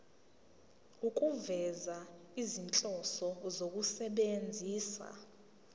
ukufeza izinhloso zokusebenzisa